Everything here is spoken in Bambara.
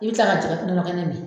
I bɛ kila ka jɔ ka nɔnɔ kɛnɛ min